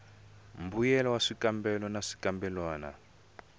mbuyelo wa swikambelo na swikambelwana